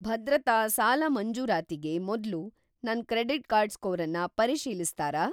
ಭದ್ರತಾ ಸಾಲ ಮಂಜೂರಾತಿಗೆ ಮೊದ್ಲು ನನ್ನ ಕ್ರೆಡಿಟ್‌ ಸ್ಕೋರನ್ನ ಪರಿಶೀಲಿಸ್ತಾರಾ?